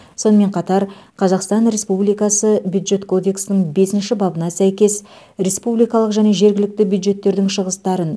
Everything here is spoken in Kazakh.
сонымен қатар қазақстан республикасы бюджет кодексінің бесінші бабына сәйкес республикалық және жергілікті бюджеттердің шығыстарын